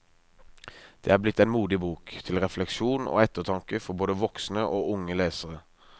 Det er blitt en modig bok, til refleksjon og ettertanke for både voksne og unge lesere.